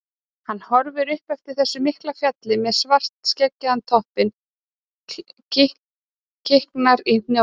Hann horfir upp eftir þessu mikla fjalli með svartskeggjaðan toppinn, kiknar í hnjáliðunum.